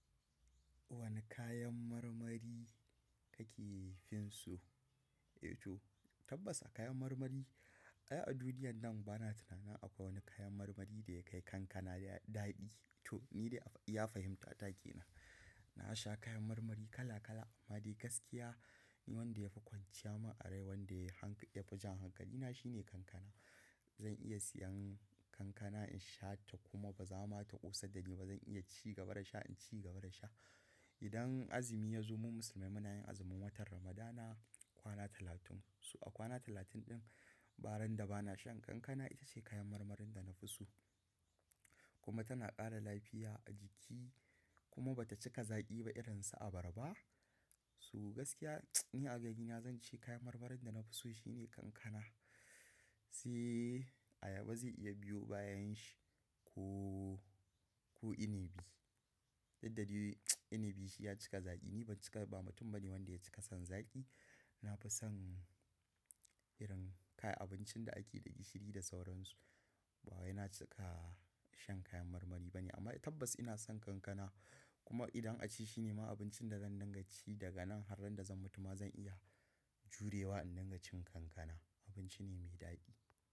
Wane kayan marmari kake fin so? To, tabbas a kayan marmari, a duniya nan bana tunanin akwai wani kayan marmari da ya kai kankana daɗi. To, ni dai a iya fahimta ta kenan. Na sha kayan marmari kala kala amma dai gaskiya wanda ya fi kwanciya ma a rai wanda ya fi jan hankalina shine kankana. Zan iya siyan kankana in sha ta kuma ba za ma ta ƙosa da ni ba. Zan iya ci gaba da sha, ci gaba da sha. Idan azumi ya zo, mu musulmai muna yin azumin watan Ramadana kwana talatun. Su a kwana talatun din, ba ran da ba na shan kankana itace kayan marmarin da na fi so. Kuma tana ƙara lafiya a jiki kuma ba ta cika zaƙi ba irin su abarba. Su gaskiya ni a ginin zan ce kayan marmarin da na fi so shine kankana. Sai ayaba zai iya biyo bayan shi ko, ko inibi. Dudda dai inibi shi ya cika zaƙi. Ni ban cika, ba mutum bane wanda ya cika son zaƙi. Na fi son irin kayan abincin da ake da gishiri da sauransu. Ba wai na cika shan kayan marmari bane amma tabbas ina son kankana. Kuma idan a ce shi ne ma abincin da zan dinga ci daga nan har randa zan mutu ma zan iya jurewa in dinga cin kankana. Abinci ne mai daɗi.